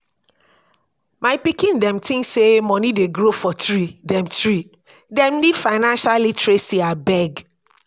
my pikin dem tink sey moni dey grow for tree dem tree dem need financial literacy abeg.